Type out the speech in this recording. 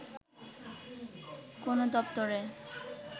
কোনো দপ্তরে